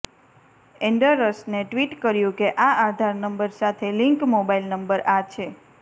એન્ડરસને tweet કર્યું કે આ આધાર નંબર સાથે લિંક મોબાઇલ નંબર આ છે